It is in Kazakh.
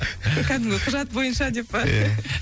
кәдімгі құжат бойынша деп па ия